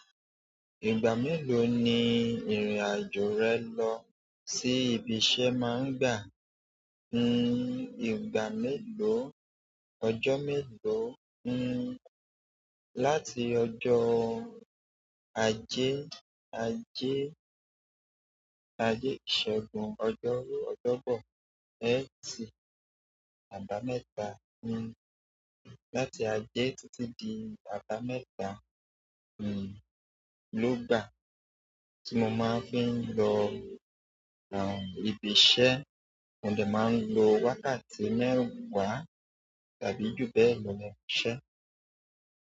Ìgbà mélòó ni ìrìn-àjò rẹ lọ sí ibi iṣẹ́ máa ń gbà? N-n-n ìgbà mélòó, ọjọ́ mélòó, n-n láti ọjọ́ ajé, ajé, ajé ìṣẹ́gun ọjọ́ ọjọ́bọ̀ é tì àbámẹ́ta n-n láti ajé títí di àbámẹ́ta n-n ló gbà tí mo máa ń fi ń lọ r-r-n ìbí iṣẹ́, mo lè máa ń lo wákàtí mẹ́wàá tàbí ju bẹ́ẹ̀ lọ ní ibi iṣẹ́.